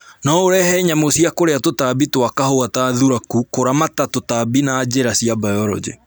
No urehe nyamũ cia kũrĩa tũtambi twa kahũa ta thuraku kũramata tũtambi na njĩra cia biology